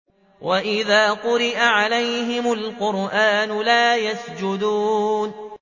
وَإِذَا قُرِئَ عَلَيْهِمُ الْقُرْآنُ لَا يَسْجُدُونَ ۩